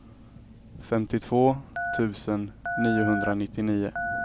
femtiotvå tusen niohundranittionio